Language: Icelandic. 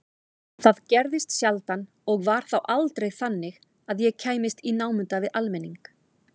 Það gerðist sjaldan og var þá aldrei þannig að ég kæmist í námunda við almenning.